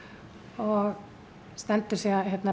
og stendur síðan